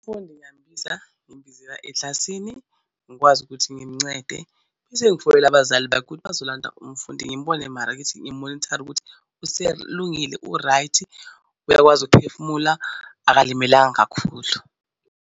Umfundi ngiyambiza ngimbizela eklasini ngikwazi ukuthi ngimncede bese ngifonele abazali bakhe ukuthi bazolanda umfundi ngim'bone ngimumonithare ukuthi useyalungile u-right? Uyakwazi ukuphefumula akulimalanga kakhulu.